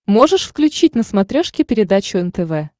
можешь включить на смотрешке передачу нтв